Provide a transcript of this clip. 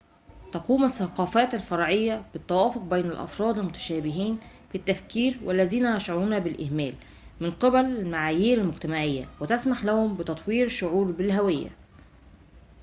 تقوم الثّقافات الفرعيّة بالتّوفيق بين الأفراد المتشابهين في التفكير والذين يشعرون بالإهمال من قِبل المعايير المجتمعيّة وتسمح لهم بتطوير شعور بالهويّة